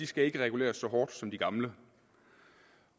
skal reguleres så hårdt som de gamle